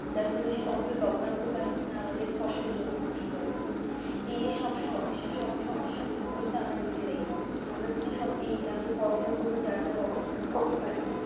তারপরে সূর্য্য লবনাক্ত পানি কিনা আমাদের ফসল জমি ধ্বংস করে এই যে সব সমস্যা সব সমস্যা নিভিয়ে আমরা নিজেরা আমাদের যদি সব এজ আমাদের করণীয় অবস্থান করতে পারি